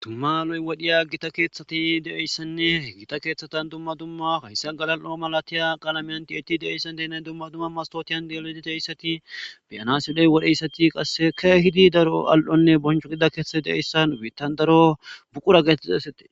dumma lo'i wadhiya gita keeththati de7eyssanne gita keeththatan dumma dumma hayssa galal7o malatiya qalameyanti itti de7eyssan denan dumma dumma mastootiyan delodi deeyssati beyanasidey wodheyssati qasse ke hidi daro al7onne boncho gida keeththati de7eyssan biittan daro buqura geetitixaysati